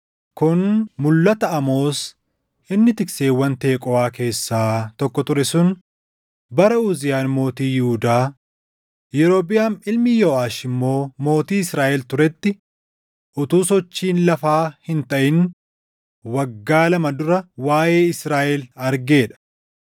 Kun mulʼata Amoos inni tikseewwan Teqooʼaa keessaa tokko ture sun bara Uziyaan mootii Yihuudaa, Yerobiʼaam ilmi Yooʼaash immoo mootii Israaʼel turetti, utuu sochiin lafaa hin taʼin waggaa lama dura waaʼee Israaʼel argee dha.